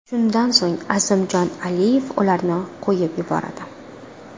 Shundan so‘ng Azimjon Aliyev ularni qo‘yib yuboradi.